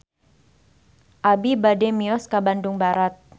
Abi bade mios ka Bandung Barat